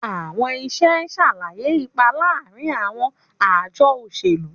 Àwọn iṣẹ́ ṣàlàyé ipa láàárín àwọn àjọ òṣèlú.